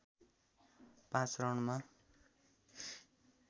पाँच रनमा